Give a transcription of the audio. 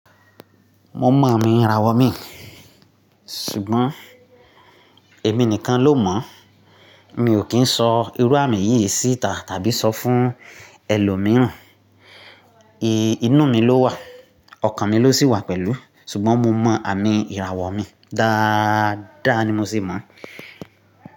Mo mọ àmì ìràwọ̀ mi, ṣùgbọ́n èmi nìkan ló mọ̀. Mi ò kí ń sọ irú àmì yìí síta tàbí sọ fún ẹlòmíràn. Inú mi ló wà, ọkàn mi ló sì wà pẹ̀lú, ṣùgbọ́n mo mọ àmì ìràwọ̀ mi dáadáa ni mo sì mọ̀